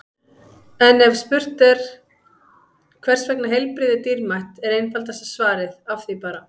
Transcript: En ef spurt er hvers vegna heilbrigði er dýrmætt er einfaldasta svarið Af því bara!